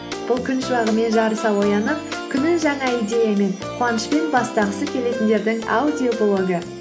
бұл күн шуағымен жарыса оянып күнін жаңа идеямен қуанышпен бастағысы келетіндердің аудиоблогы